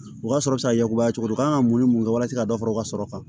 U ka sɔrɔ ka yakubaya cogo di u kan ka mun ni mun kɛ walasa ka dɔ fara u ka sɔrɔ kan